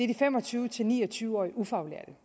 de fem og tyve til ni og tyve årige ufaglærte